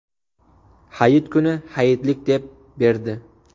Hayit kuni hayitlik deb berdi.